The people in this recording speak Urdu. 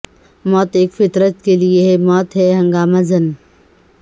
موت ایک فطرت کی لے ہے موت ہے ہنگامہ زن